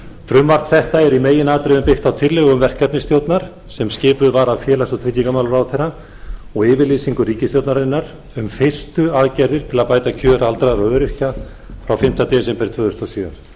frumvarp þetta er í meginatriðum byggt á tillögum verkefnisstjórnar sem skipuð var af félags og tryggingamálaráðherra og yfirlýsingu ríkisstjórnarinnar um fyrstu aðgerðir til að bæta kjör aldraðra og öryrkja frá fimmta desember tvö þúsund og sjö